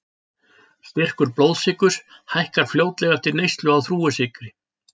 Styrkur blóðsykurs hækkar fljótlega eftir neyslu á þrúgusykri.